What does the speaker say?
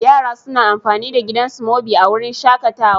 Yara suna amfani da gidan Smoby a wurin shakatawa.